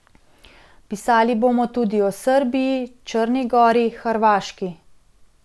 Pisali bomo tudi o Srbiji, Črni gori, Hrvaški ...